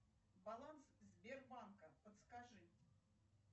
баланс сбербанка подскажи